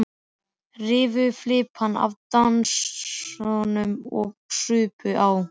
Rifu flipana af dósunum og supu á.